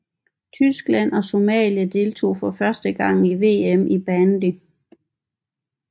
Tyskland og Somalia deltog for første gang ved VM i bandy